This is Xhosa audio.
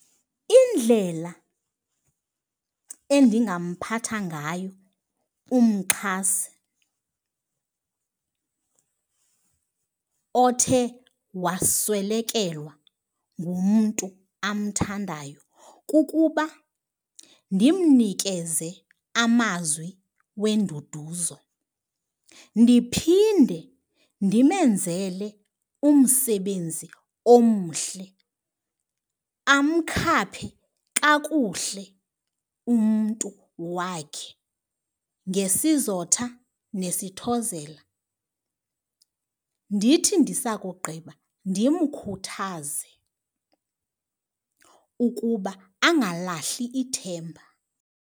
Indlela endingamphatha ngayo umxhasi othe waswelekelwa ngumntu amthandayo kukuba ndimnikeze amazwi wenduduzo, ndiphinde ndimenzele umsebenzi omhle amkhaphe kakuhle umntu wakhe ngesizotha nesithozela. Ndithi ndisakugqiba ndimkhuthaze ukuba angalahli ithemba.